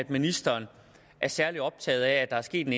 ministeren er særlig optaget af at der er sket en